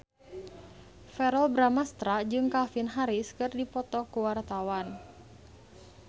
Verrell Bramastra jeung Calvin Harris keur dipoto ku wartawan